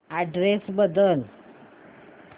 address बदल